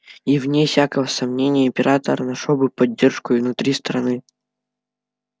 и вне всякого сомнения император нашёл бы поддержку и внутри страны